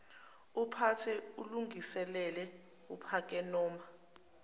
uphathe ulungiselele uphakenoma